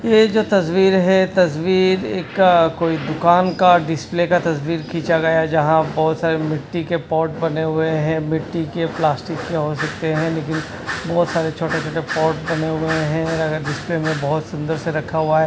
ये जो तस्वीर है तस्वीर एक कोई दुकान का डिस्प्ले का तस्वीर खिंचा गया है यहां बहुत सारी मिट्टी के पॉट बने हुए हैं मिट्टी के प्लास्टिक के हो सकते हैं लेकिन बहुत सारे छोटे छोटे पॉट बने हुए हैं अगर डिस्प्ले में बहुत सुंदर से रखा हुआ है।